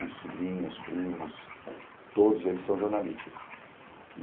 Dos sobrinhos, primos, todos eles são jornalistas.